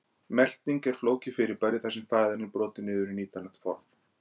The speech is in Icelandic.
Melting er flókið fyrirbæri þar sem fæðan er brotin niður í nýtanlegt form.